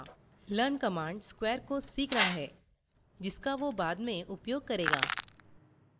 learn command square को सीख रहा है जिसका वो बाद में उपयोग करेगा